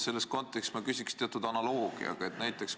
Selles kontekstis küsin ma teatud analoogiat kasutades.